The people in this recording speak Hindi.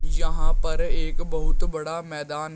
यहां पर एक बहुत बड़ा मैदान --